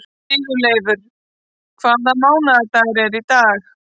Sigurleifur, hvaða mánaðardagur er í dag?